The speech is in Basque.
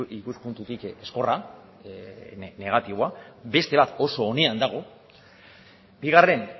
ikuspuntutik ezkorra negatiboa beste bat oso onean dago bigarren